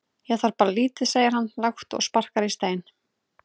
Ég þarf bara lítið segir hann lágt og sparkar í stein.